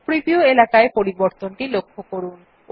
preview এলাকায় পরিবর্তনটি লক্ষ্য করুন